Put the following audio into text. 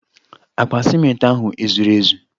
Akpa ciment ahu ezuru ezu?